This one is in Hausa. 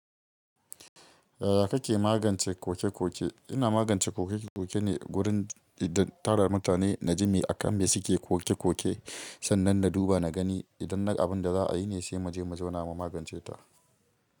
Yaya kake magance koke-koke? Ina magance koke-koke ne wurin idan tara mutane na jima akan me suke koke-koke, sannan na duba na gani idan na abin da za a yi ne sai mu je mu zauna mu magance ta.